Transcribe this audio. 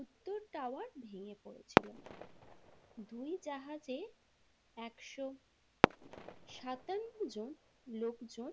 উত্তর টাওয়ার ভেঙে পড়েছিল দুই জাহাজে একশো সাতান্ন জন লোকজন।